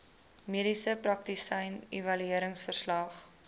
mediese praktisyn evalueringsverslag